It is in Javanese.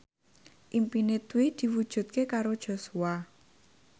impine Dwi diwujudke karo Joshua